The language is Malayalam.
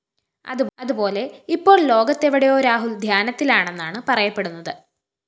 അതുപോലെ ഇപ്പോള്‍ ലോകത്തെവിടെയോ രാഹുല്‍ ധ്യാനത്തിലാണെന്നാണ് പറയപ്പെടുന്നത്